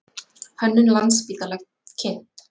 Hönnun Landspítala kynnt